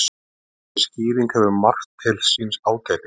Þessi skýring hefur margt til síns ágætis.